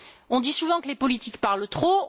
On dit souvent que les politiques parlent trop.